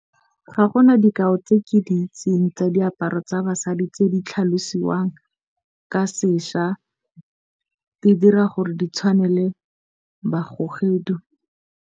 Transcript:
Ga gona dikao tse ke di itseng tsa diaparo tsa basadi tse di tlhalosiwang ka sešwa. E dira gore di tshwanele .